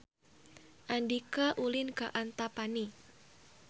Andika ulin ka Antapani